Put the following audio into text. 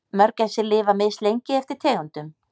Mörgæsir lifa mislengi eftir tegundum.